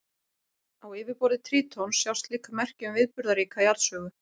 Á yfirborði Trítons sjást líka merki um viðburðaríka jarðsögu.